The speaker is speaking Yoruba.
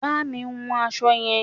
Bá mi hun aṣọ yẹn!